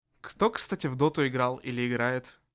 кто кстати в доту играл или играет